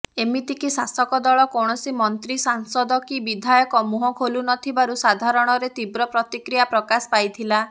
ଏମିତିକି ଶାସକଦଳ କୌଣସି ମନ୍ତ୍ରୀ ସାଂସଦ କି ବିଧାୟକ ମୁହଁ ଖୋଲୁନଥିବାରୁ ସାଧାରଣରେ ତୀବ୍ର ପ୍ରତିକ୍ରିୟା ପ୍ରକାଶ ପାଇଥିଲା